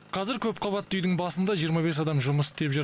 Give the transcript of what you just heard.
қазір көпқабатты үйдің басында жиырма бес адам жұмыс істеп жүр